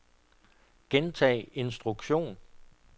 gentag instruktion